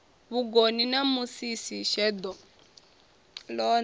vhugoni na musisi sheḓo ḽone